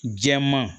Jɛman